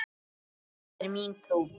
Það er mín trú.